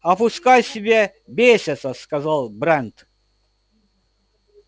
а пускай себе бесятся сказал брент